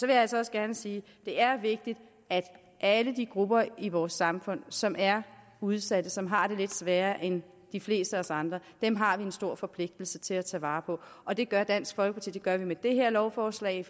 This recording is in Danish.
jeg altså også gerne sige at det er vigtigt at alle de grupper i vores samfund som er udsatte som har det lidt sværere end de fleste af os andre har vi en stor forpligtelse til at tage vare på og det gør dansk folkeparti det gør vi med det her lovforslag